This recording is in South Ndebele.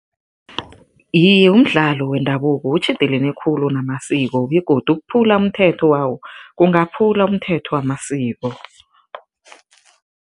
Iye, umdlalo wendabuko utjhidelene khulu namasiko begodu ukuphula umthetho wawo, kungakhuphula umthetho wamasiko.